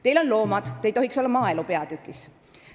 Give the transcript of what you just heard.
Teil on loomad, seetõttu ei tohiks te osaleda maaelu peatüki arutelul.